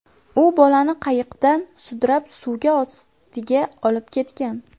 U bolani qayiqdan sudrab, suvga ostiga olib ketgan.